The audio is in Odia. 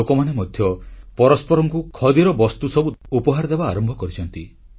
ଲୋକମାନେ ମଧ୍ୟ ପରସ୍ପରଙ୍କୁ ଖଦିର ବସ୍ତୁ ଉପହାର ଦେବା ଆରମ୍ଭ କରିଛନ୍ତି